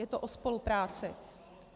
Je to o spolupráci.